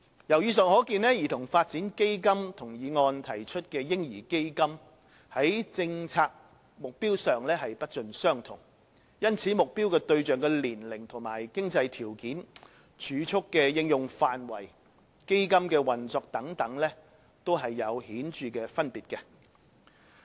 由以上可見，兒童發展基金與議案提出的"嬰兒基金"，在政策目標上不盡相同，因此，目標對象的年齡和經濟條件、儲蓄的應用範圍及基金的運作等，也有顯著分別。